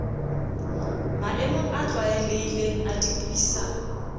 maemong a tlwaelehileng a dipuisano